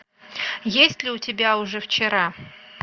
есть ли у тебя уже вчера